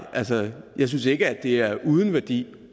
jeg synes ikke at det er uden værdi